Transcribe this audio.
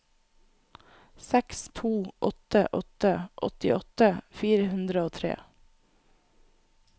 seks to åtte åtte åttiåtte fire hundre og tre